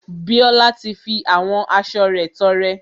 Bíọ́lá ti fi àwọn aṣo rẹ̀ tọrẹ.